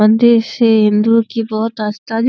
मंदिर से हिंदुओ की बहोत आस्था जु --